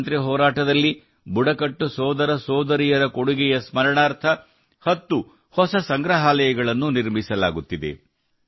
ಸ್ವಾತಂತ್ರ್ಯ ಹೋರಾಟದಲ್ಲಿ ಬುಡಕಟ್ಟು ಸೋದರ ಸೋದರಿಯರ ಕೊಡುಗೆಯನ್ನು ಸ್ಮರಣಾರ್ಥ 10 ಹೊಸ ಸಂಗ್ರಹಾಲಯಗಳನ್ನು ನಿರ್ಮಿಸಲಾಗುತ್ತಿದೆ